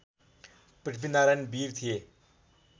पृथ्वीनारायण वीर थिए